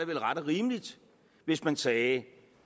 vel ret og rimeligt hvis man sagde